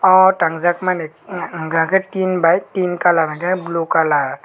aww tanjak mani unkha ke tin bai tin colour unkhe blue colour.